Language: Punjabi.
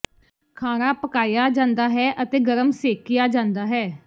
ਖਾਣਾ ਪਕਾਇਆ ਜਾਂਦਾ ਹੈ ਅਤੇ ਗਰਮ ਸੇਕਿਆ ਜਾਂਦਾ ਹੈ